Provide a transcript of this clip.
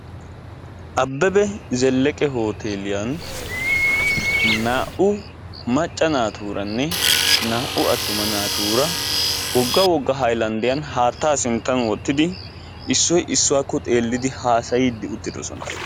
Abeba Zeleqqe hootteeliyan naa"u macca naatuuranne naa"u attuma naatuura wogga wogga hayllanddiyan haattaa sinttan wottidi issoy issuwakko xelidi haasayiidi uttiddossona.